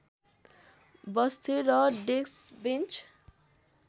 बस्थे र डेस्कबेन्च